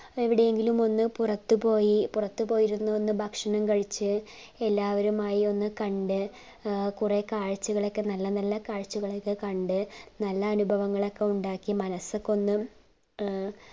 എവിടെങ്കിലും ഒന്ന് പുറത്തു പോയി പുറത്തു പോയിരുന്നു ഭക്ഷണം കഴിച്ചു എല്ലാവരുമായി ഒന്ന് കണ്ടു അഹ് കൊറേ കാഴ്ച്ചകളൊക്കെ നല്ല നല്ല കാഴ്ചകളൊക്കെ കണ്ടു നല്ല അനുഭവങ്ങളൊക്കെ ഉണ്ടാക്കി കണ്ട് മനസ്സൊക്കെ ഒന്ന് ഏർ